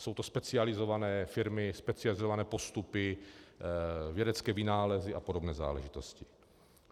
Jsou to specializované firmy, specializované postupy, vědecké vynálezy a podobné záležitosti.